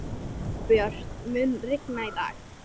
Herbjört, mun rigna í dag?